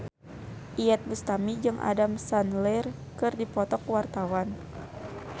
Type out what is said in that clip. Iyeth Bustami jeung Adam Sandler keur dipoto ku wartawan